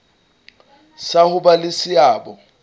sa ho ba le seabo